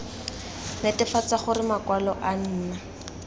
netefatsa gore makwalo a nna